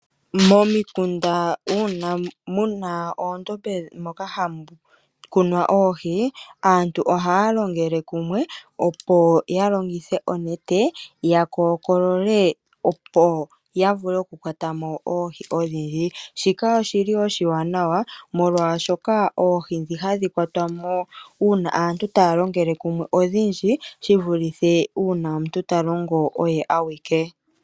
Momikunda uuna muna oondombe moka hamu kunwa oohi aantu ohaya longele kumwe opo ya longithe onete ya kookolole opo yavule okukwatamo oohi odhindji, shika oshili oshiwanawa molwaashoka oohi dhi hadhi kwatwa aantu taya longele kumwe odhindji shivuluthe uuna omuntu talongo oye awike